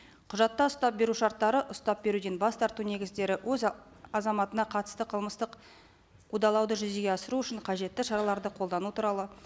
құжатта ұстап беру шарттары ұстап беруден бас тарту негіздері өз азаматына қатысты қылмыстық қудалауды жүзеге асыру үшін қажетті шараларды қолдану туралы